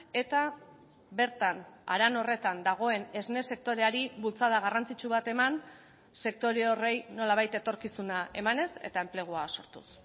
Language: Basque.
eta bertan haran horretan dagoen esne sektoreari bultzada garrantzitsu bat eman sektore horri nolabait etorkizuna emanez eta enplegua sortuz